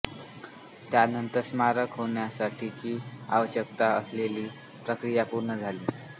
त्यानंतर स्मारक होण्यासाठीची आवश्यक असलेली प्रक्रिया पूर्ण झाली